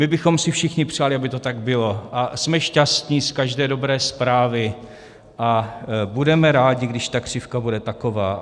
My bychom si všichni přáli, aby to tak bylo, a jsme šťastni z každé dobré zprávy a budeme rádi, když ta křivka bude taková.